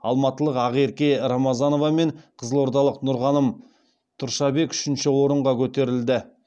алматылық ақерке рамазанова мен қызылордалық нұрғаным тұршабек үшінші орынға көтерілді